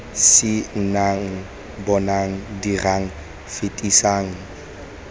c nnang bonang dirang fetisang